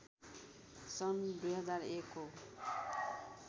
सन् २००१ को